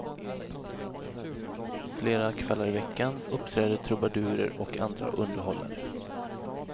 Flera kvällar i veckan uppträder trubadurer och andra underhållare.